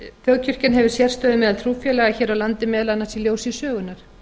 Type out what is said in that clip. þjóðkirkjan hefur sérstöðu meðal trúfélaga hér á landi meðal annars í ljósi sögunnar